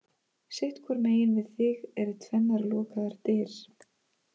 Sitt hvoru megin við þig eru tvennar lokaðar dyr.